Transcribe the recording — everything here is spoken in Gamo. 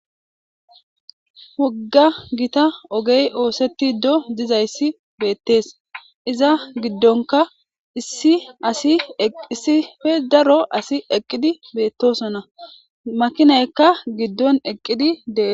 Wogga gita ogey oosetti do dizayssi beettees iza giddonka issi asi eqissife daro asi eqqidi beettosona makinaykka giddon eqqidi dees.